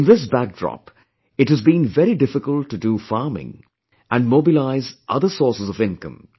In this backdrop, it has been very difficult to do farming and mobilize other sources of income